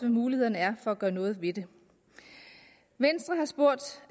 mulighederne er for at gøre noget ved det venstre har spurgt